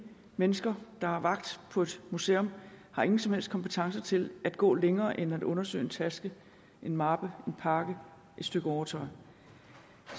mennesker der har vagt på et museum har ingen som helst kompetence til at gå længere end til at undersøge en taske en mappe en pakke et stykke overtøj